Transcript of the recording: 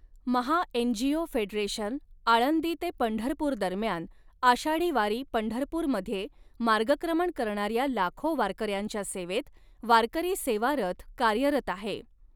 महा NGO federation Alandi ते पंढपूर दरम्यान आषाढी वारी पंढरपूर मध्ये मार्गक्रमण करणाऱ्या लाखो वारकऱ्यांच्या सेवेत वारकरी सेवा रथ कार्यरत आहे.